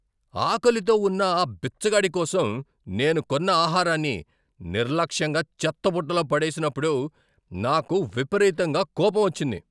ఆకలితో ఉన్న ఆ బిచ్చగాడి కోసం నేను కొన్న ఆహారాన్ని నిర్లక్ష్యంగా చెత్తబుట్టలో పడేసినప్పుడు నాకు విపరీతంగా కోపం వచ్చింది.